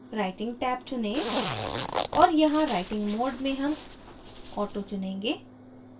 writing tab चुनें और यहाँ writing mode में हम auto चुनेंगे